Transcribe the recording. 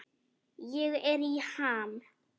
Ég er í ham.